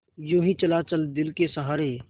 यूँ ही चला चल दिल के सहारे